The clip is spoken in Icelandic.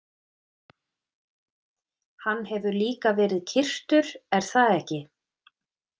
Hann hefur líka verið kyrktur, er það ekki?